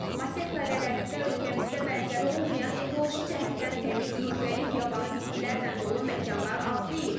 Masekh dairələrində ölkəmizdə bənzəri olmayan ekoloji cəhətdən təmiz müxtəlif yabanı bitkilərlə dolu məkanlar az deyil.